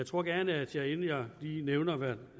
tror gerne at jeg inden jeg lige nævner hvad